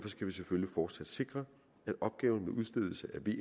skal vi selvfølgelig fortsat sikre